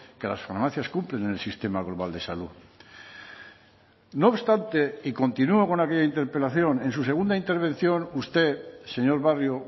que las farmacias cumplen en el sistema global de salud no obstante y continúa con aquella interpelación en su segunda intervención usted señor barrio